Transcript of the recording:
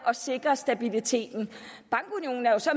at sikre stabiliteten bankunionen er jo så